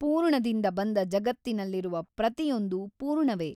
ಪೂರ್ಣದಿಂದ ಬಂದ ಜಗತ್ತಿನಲ್ಲಿರುವ ಪ್ರತಿಯೊಂದು ಪೂರ್ಣವೇ.